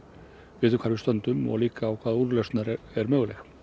við vitum hvar við stöndum og líka hvaða úrlausn er möguleg